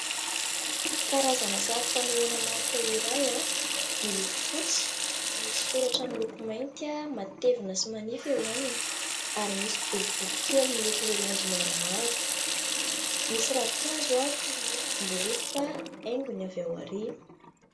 Karazana sary fanehoana marika iray, miloko fotsy. Misy soratra miloko mainty, matevina sy manify eo aminy ary misy boribory kely miloko laoranjy maromaro. Misy ravinkazo toy ny hoe ravim-boaloboka haingony avy ao aoriana.